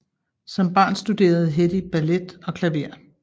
Som barn studerede Hedy ballet og klaver